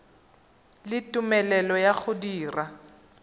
le tumelelo ya go dira